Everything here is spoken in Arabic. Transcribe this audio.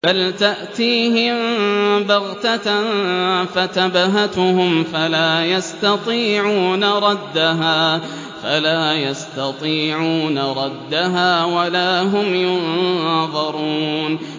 بَلْ تَأْتِيهِم بَغْتَةً فَتَبْهَتُهُمْ فَلَا يَسْتَطِيعُونَ رَدَّهَا وَلَا هُمْ يُنظَرُونَ